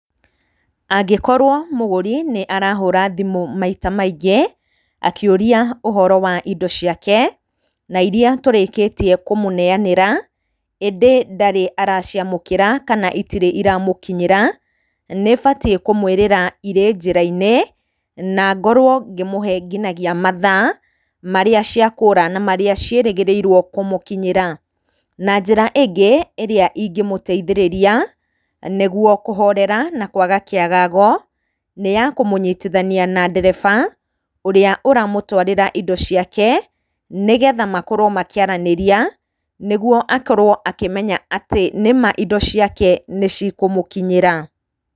Angĩkorwo mũgũri nĩarahũra thimũ maita maingĩ akĩũria ũhoro wa indo ciake na irĩa tũrĩkĩtie kũmũneyanĩra ĩndĩ ndarĩ araciamũkĩra kana itirĩ iramũkinyĩra, nĩbatiĩ kũmwĩrĩra irĩ njĩra-inĩ na ngorwo ngĩmũhee nginya mathaa marĩa ciakũra na marĩa ciĩrĩgĩrĩirwo kũmũkinyĩra. Na njĩra ĩngĩ ĩrĩa ingĩmũteithĩrĩria nĩguo kũhorera na kwaga kĩagago. nĩyakũmũnyitithania na ndereba ũrĩa ũramũtwarĩra indo ciake, nĩgetha makorwo makĩaranĩria, nĩguo akorwo akĩmenya atĩ nĩ maa indo ciake nĩcikũmũkinyĩra.